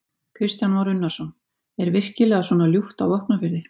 Kristján Már Unnarsson: Er virkilega svona ljúft á Vopnafirði?